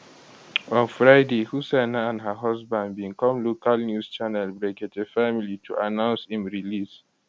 on friday hussaina and her husband bin come local news channel brekete family to announce im release